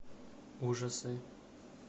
ужасы